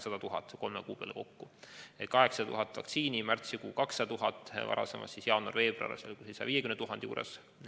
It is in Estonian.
Ehk 800 000 vaktsiinidoosi, märtsikuus 200 000, varasemast, jaanuarist-veebruarist on juba olemas 150 000.